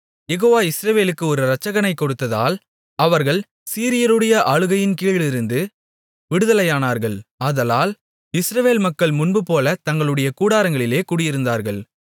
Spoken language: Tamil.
யெகோவா இஸ்ரவேலுக்கு ஒரு ரட்சகனைக் கொடுத்ததால் அவர்கள் சீரியருடைய ஆளுகையின்கீழிருந்து விடுதலையானார்கள் ஆதலால் இஸ்ரவேல் மக்கள் முன்புபோல தங்களுடைய கூடாரங்களிலே குடியிருந்தார்கள்